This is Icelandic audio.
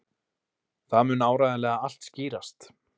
Það mun áreiðanlega allt skýrast.